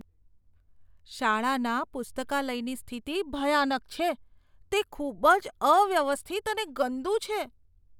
શાળાના પુસ્તકાલયની સ્થિતિ ભયાનક છે, તે ખૂબ જ અવ્યવસ્થિત અને ગંદું છે.